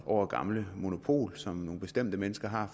gamle monopol som nogle bestemte mennesker har